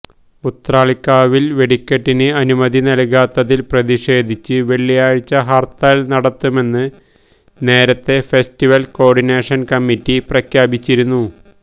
ഉത്രാളിക്കാവില് വെടിക്കെട്ടിന് അനുമതി നല്കാത്തതില് പ്രതിഷേധിച്ച് വെള്ളിയാഴ്ച ഹര്ത്താല് നടത്തുമെന്ന് നേരത്തേ ഫെസ്റ്റിവല് കോര്ഡിനേഷന് കമ്മിറ്റി പ്രഖ്യാപിച്ചിരുന്നു